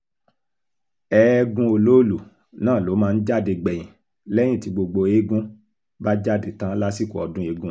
ẹ̀ẹ̀gún olóòlù náà ló máa ń jáde gbẹ̀yìn lẹ́yìn tí gbogbo eegun bá jáde tán lásìkò ọdún eegun